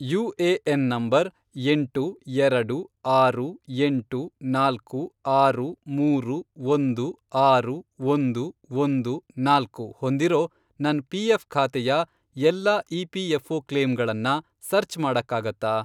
UAN number, ಎಂಟು, ಎರಡು, ಆರು, ಎಂಟು, ನಾಲ್ಕು, ಆರು, ಮೂರು, ಒಂದು, ಆರು, ಒಂದು, ಒಂದು, ನಾಲ್ಕು, ಹೊಂದಿರೋ ನನ್ ಪಿಎಫ಼್ ಖಾತೆಯ ಎಲ್ಲಾ ಇಪಿಎಫ಼್ಒ ಕ್ಲೇಮ್ಗಳನ್ನ ಸರ್ಚ್ ಮಾಡಕ್ಕಾಗತ್ತಾ?